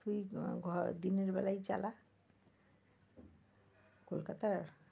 তুই আহ দিনের বেলায় চালা কলকাতার,